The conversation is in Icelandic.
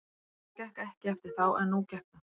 Það gekk ekki eftir þá en nú gekk það.